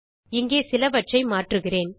இங்கே சிலவற்றை மாற்றுகிறேன்